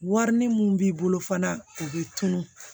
Wari ni mun b'i bolo fana o bɛ tunun